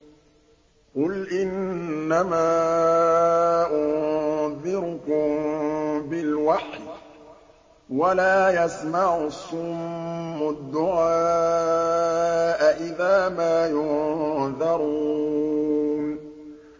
قُلْ إِنَّمَا أُنذِرُكُم بِالْوَحْيِ ۚ وَلَا يَسْمَعُ الصُّمُّ الدُّعَاءَ إِذَا مَا يُنذَرُونَ